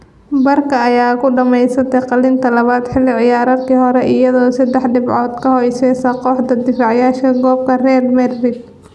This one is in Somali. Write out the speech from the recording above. Barca ayaa ku dhameysatay kaalinta labaad xilli ciyaareedkii hore, iyadoo seddex dhibcood ka hooseysa kooxda difaacaneysa koobka ee Real Madrid.